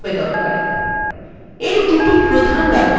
এর দুটি প্রধান ব্যবহার রয়েছে